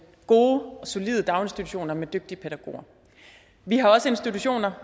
gode og solide daginstitutioner med dygtige pædagoger vi har også institutioner